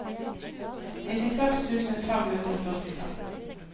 nittiseks tusen fem hundre og førtifem